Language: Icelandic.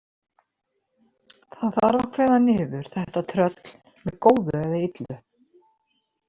Það þarf að kveða niður þetta tröll með góðu eða illu.